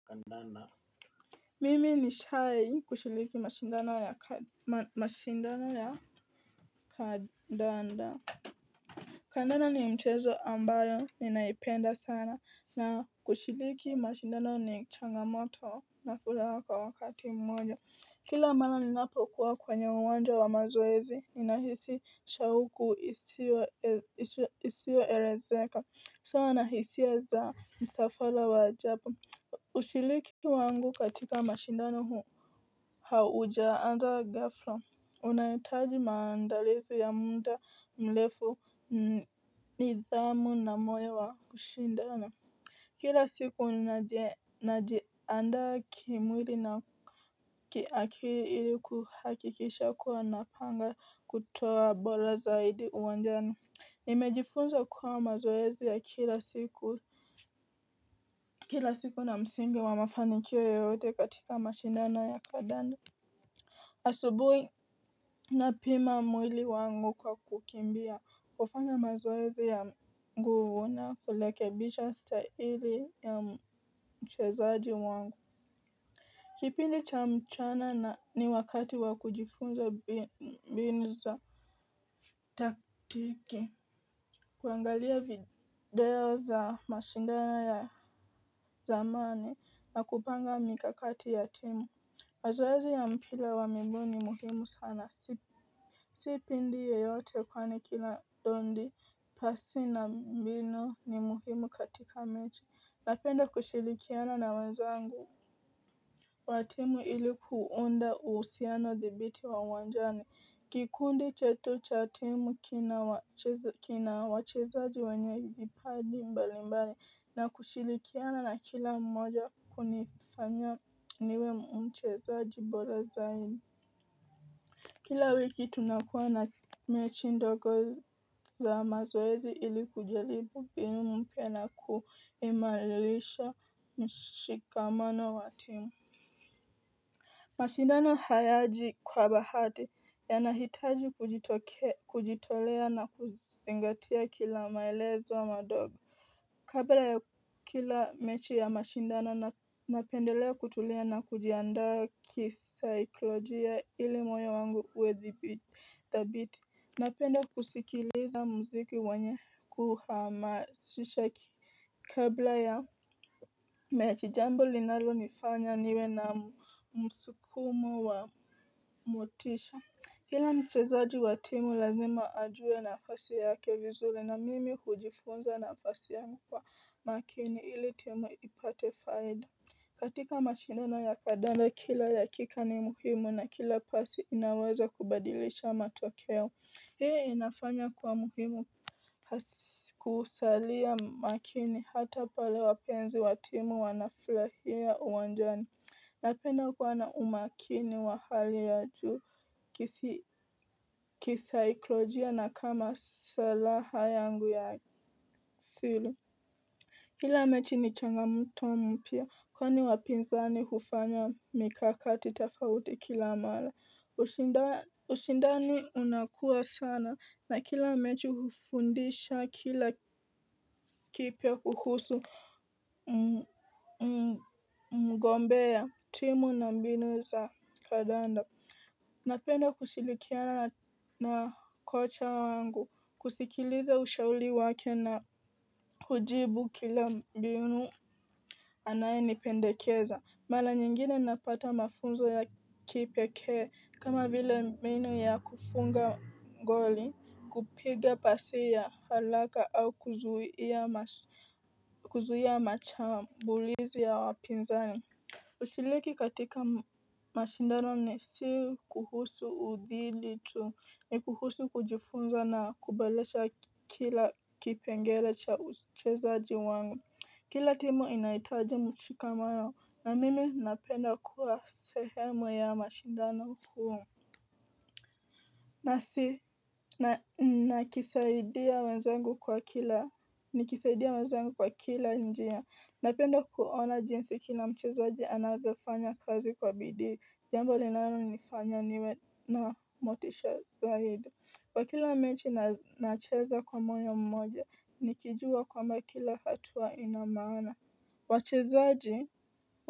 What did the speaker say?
Kandanda mimi nishai kushiriki mashindano ya kandanda kandanda ni mchezo ambayo ninaipenda sana na kushiriki mashindano ni changamoto na furaha wakati mmoja kila mara ninapokuwa kwenye uwanja wa mazoezi ninahisi shauku isio elezeka sawa nahisia za msafara wa ajabu ushiriki wangu katika mashindano haujaanza gafla unahitaji maandalizi ya muda mrefu ni dhamu na moyo wa kushindana kila siku ninaji najiandaa kimwili na kiakili ili kuhakikisha kuwa napanga kutoa bora zaidi uwanjani. Nimejifunza kuwa mazoezi ya kila siku na msingi wa mafanikio yoyote katika mashindano ya kandanda. Asubuhi na pima mwili wangu kwa kukimbia kufanya mazoezi ya nguvuna kurekebisha staili ya mchezaji wangu. Kipindi cha mchana ni wakati wa kujifunza mbinu za taktiki kuangalia video za mashindano ya zamani na kupanga mikakati ya timu mazoezi ya mpira wa miguu ni muhimu sana. Sipindi yeyote kwani kila dondi pasi na mbinu ni muhimu katika mechi. Napenda kushirikiana na wenzangu. Watimu ilikuunda uhusiano dhibiti wa uwanjani. Kikundi chetu cha timu kina wachezaji wenye vipaji mbali mbali na kushirikiana na kila mmoja kunifanya niwe mchezaji bora zaidi. Kila wiki tunakuwa na mechindogo za mazoezi ili kujaribu mbinu mpyana kuimarisha mshikamano wa timu. Mashindano hayaji kwa bahati yanahitaji kujitokea kujitolea na kuzingatia kila maelezo madogo kabla ya kila mechi ya mashindano napendelea kutulia na kujiandaa kisaikolojia ili moyo wangu uwe dhabiti napenda kusikiliza muziki wenye kuhama sisha ki kabla ya mechi jambo linalo nifanya niwe na msukumo wa motisha kila mchezaji wa timu lazima ajue na fasi yake vizuri na mimi hujifunza na fasi yangu kwa makini ili timu ipate faida katika mashindano ya kandanda kila dakika ni muhimu na kila pasi inaweza kubadilisha matokeo. Hii inafanya kuwa muhimu kusalia makini hata pale wapenzi wa timu wanafurahia uwanjani. Napenda kuwa na umakini wa hali ya juu kisaikolojia na kwa masilaha yangu ya asili kila mechi ni changamoto mpya kwani wapinzani hufanya mikakati fofauti kila mara. Ushindani unakua sana na kila mechi hufundisha kila kipya kuhusu mgombea timu na mbinu za kandanda. Napenda kushilikiana na kocha wangu, kusikiliza ushauri wake na hujibu kila mbinu anaye nipendekeza. Mara nyingine napata mafunzo ya kipekee kama vile mbinu ya kufunga ngoli kupiga pasiya haraka au kuzuia masha mbulizi ya wapinzani kushiriki katika mashindano ni si kuhusu udhili tu ni kuhusu kujifunza na kuboresha kila kipengelecha uchezaji wangu. Kila timu inahitaji mshikamano na mimi napenda kuwa sehemu ya mashindano kuu. Nakisaidia wenzangu kwa kila nikisaidia wenzangu kwa kila njia napenda kuona jinsi kila mchezaji anavyofanya kazi kwa bidii jambo linalo nifanya niwe na motisha zaidi kwa kila mechi nacheza kwa moyo mmoja nikijua kwamba kila hatua inamaana wachezaji.